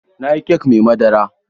Na yi kek mai madara.